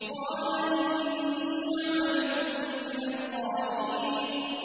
قَالَ إِنِّي لِعَمَلِكُم مِّنَ الْقَالِينَ